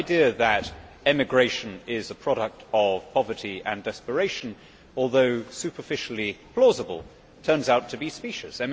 The idea that emigration is a product of poverty and desperation, although superficially plausible, turns out to be specious.